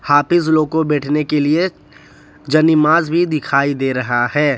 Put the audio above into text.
हाफिज लोग को बैठने के लिए ज्नीमाज भी दिखाई दे रहा है।